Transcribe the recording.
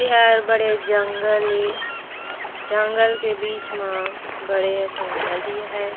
यह बड़े जंगल है जंगल के बिच मा बढ़िया सा नदी है।